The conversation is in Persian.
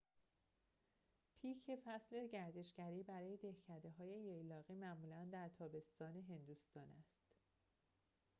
پیک فصل گردشگری برای دهکده‌های ییلاقی معمولاً در تابستان هندوستان است